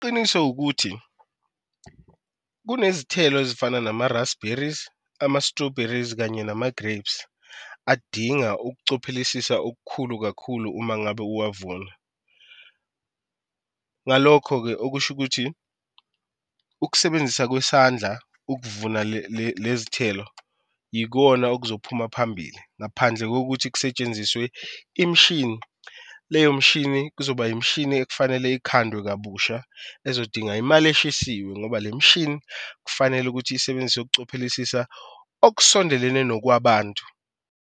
Iqiniso ukuthi kunezithelo ezifana nama-raspberries, ama-strawberries kanye nama-grapes adinga ukucophelisisa okukhulu kakhulu uma ngabe owavuna. Ngalokho-ke okusho ukuthi ukusebenzisa kwesandla, ukuvuna lezi thelo yikona okuzophuma phambili ngaphandle kokuthi kusetshenziswe imishini. Leyo mshini kuzoba imishini ekufanele ikhandwe kabusha ezodinga imali eshisiwe ngoba le mishini kufanele ukuthi isebenzise ukucophelisisa okusondelene nokwabantu.